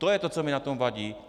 To je to, co mi na tom vadí.